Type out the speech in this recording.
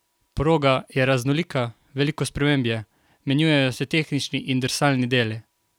Proga je raznolika, veliko sprememb je, menjujejo se tehnični in drsalni deli.